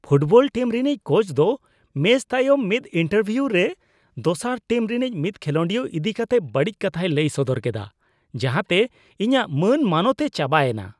Football team ᱨᱤᱱᱤᱡ coach ᱫᱚ match ᱛᱟᱭᱚᱢ ᱢᱤᱫ ᱤᱱᱴᱟᱨᱵᱷᱤᱭᱩ ᱨᱮ ᱫᱚᱥᱟᱨ ᱴᱤᱢ ᱨᱮᱱᱤᱡ ᱢᱤᱫ ᱠᱷᱮᱞᱳᱰᱤᱭᱟᱹ ᱤᱫᱤ ᱠᱟᱛᱮ ᱵᱟᱹᱲᱤᱡ ᱠᱟᱛᱷᱟᱭ ᱞᱟᱹᱭ ᱥᱚᱫᱚᱨ ᱠᱮᱫᱟ ᱡᱟᱦᱟᱸ ᱛᱮ ᱤᱧᱟᱹᱜ ᱢᱟᱹᱱ ᱢᱟᱱᱚᱛ ᱮ ᱪᱟᱵᱟ ᱮᱱᱟ ᱾